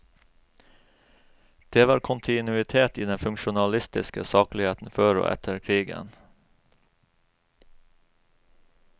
Det var kontinuitet i den funksjonalistiske sakligheten før og etter krigen.